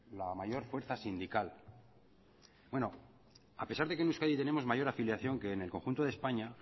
la mayor fuerza sindical bueno a pesar de que en euskadi tenemos mayor afiliación que en el conjunto de españa